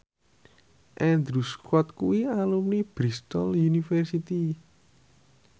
Andrew Scott kuwi alumni Bristol university